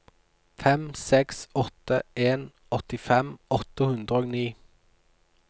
fem seks åtte en åttifem åtte hundre og ni